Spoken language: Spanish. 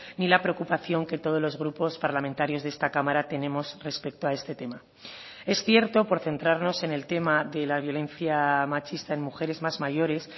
ni la preocupación que todos los grupos parlamentarios de esta cámara tenemos respecto a este tema es cierto por centrarnos en el tema de la violencia machista en mujeres más mayores